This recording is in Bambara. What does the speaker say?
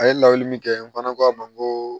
A ye lawuli min kɛ n fana ko a ma n ko